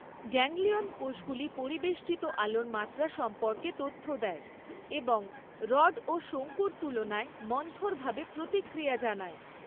Ganglion কোষগুলি পরিবেষ্টিত আলোর মাত্রা সম্পর্কে তথ্য দেয় এবং রড ও শঙ্কুর তুলনায় মন্থরভাবে প্রতিক্রিয়া জানায়।